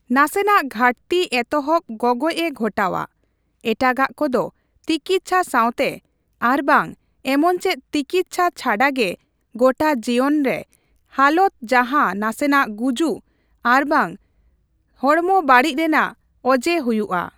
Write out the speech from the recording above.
ᱱᱟᱥᱮᱱᱟᱜ ᱜᱷᱟᱹᱴᱛᱤ ᱮᱛᱚᱦᱚᱵ ᱜᱚᱜᱚᱡ ᱮ ᱜᱷᱚᱴᱟᱣᱟ, ᱮᱴᱟᱜᱟᱜ ᱠᱚᱫᱚ ᱛᱤᱠᱤᱛᱪᱷᱟ ᱥᱟᱣᱛᱮ ᱟᱨᱵᱟᱝ ᱮᱢᱚᱱᱪᱮᱫ ᱛᱤᱠᱤᱛᱪᱷᱟ ᱪᱷᱟᱰᱟᱜᱮ ᱜᱚᱴᱟ ᱡᱤᱭᱚᱱᱨᱮ ᱦᱟᱞᱚᱛ ᱡᱟᱦᱟᱸ ᱱᱟᱥᱮᱱᱟᱜ ᱜᱩᱡᱩᱜ ᱟᱨᱵᱟᱝ ᱦᱚᱲᱢᱚ ᱵᱟᱹᱲᱤᱡᱽ ᱨᱮᱱᱟᱜ ᱚᱡᱮ ᱦᱩᱭᱩᱜᱼᱟ ᱾